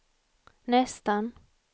nästan